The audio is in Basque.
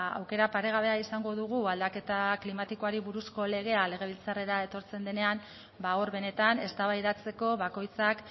aukera paregabea izango dugu aldaketa klimatikoari buruzko legea legebiltzarrera etortzen denean ba hor benetan eztabaidatzeko bakoitzak